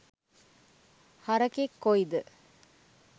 හරකෙක් කොයිද